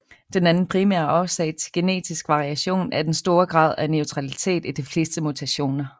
Den anden primære årsag til genetisk variation er den store grad af neutralitet i de fleste mutationer